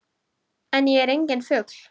En ég er enginn fugl.